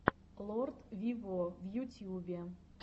лорд виво в ютьюбе